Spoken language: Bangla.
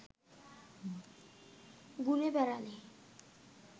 ঘুরে বেড়ালে